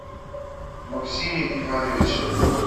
максиме ивановиче